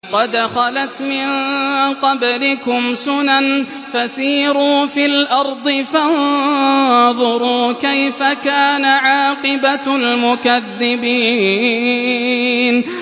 قَدْ خَلَتْ مِن قَبْلِكُمْ سُنَنٌ فَسِيرُوا فِي الْأَرْضِ فَانظُرُوا كَيْفَ كَانَ عَاقِبَةُ الْمُكَذِّبِينَ